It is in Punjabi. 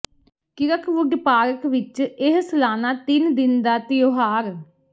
ਕਿਰਕਵੁਡ ਪਾਰਕ ਵਿਚ ਇਹ ਸਲਾਨਾ ਤਿੰਨ ਦਿਨ ਦਾ ਤਿਉਹਾਰ